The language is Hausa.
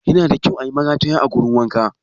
Yana da kyau ayi marataya a wurin wanka